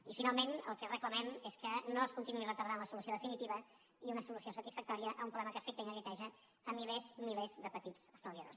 i finalment el que reclamem és que no es continuï retardant la solució definitiva i una solució satisfactòria a un problema que afecta i neguiteja milers milers de petits estalviadors